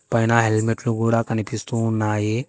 పైన హెల్మెట్లు కూడా కనిపిస్తూ ఉన్నాయి.